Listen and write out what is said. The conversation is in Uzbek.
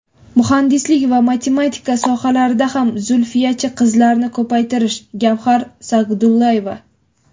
muhandislik va matematika sohalarida ham Zulfiyachi qizlarni ko‘paytirish (Gavkhar Sagdullaeva).